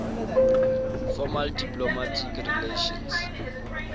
formal diplomatic relations